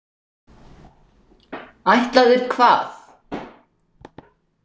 Ætlaðir hvað?